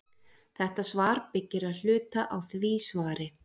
Þetta svar byggir að hluta á því svari.